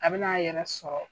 A be n'a yɛrɛ sɔrɔ